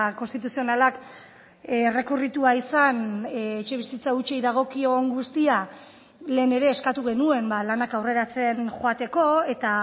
konstituzionalak errekurritua izan etxebizitza hutsei dagokion guztia lehen ere eskatu genuen lanak aurreratzen joateko eta